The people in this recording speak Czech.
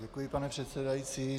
Děkuji, pane předsedající.